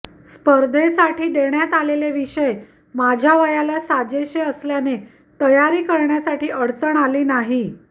स्पर्धेसाठी देण्यात आलेले विषय माझ्या वयाला साजेसे असल्याने तयारी करण्यासाठी अडचण आली नाही